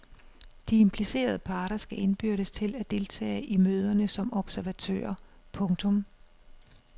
De implicerede parter skal indbydes til at deltage i møderne som observatører. punktum